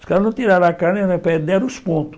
Os caras não tiraram a carne, deram os pontos.